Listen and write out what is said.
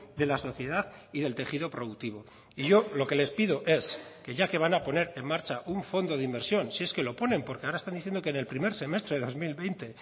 de la sociedad y del tejido productivo y yo lo que les pido es que ya que van a poner en marcha un fondo de inversión si es que lo ponen porque ahora están diciendo que en el primer semestre de dos mil veinte